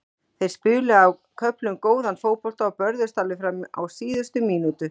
Þeir spiluðu á köflum góðan fótbolta og börðust alveg fram á síðustu mínútu.